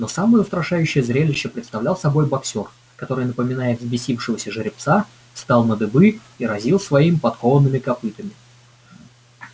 но самое устрашающее зрелище представлял собой боксёр который напоминая взбесившегося жеребца встал на дыбы и разил своими подкованными копытами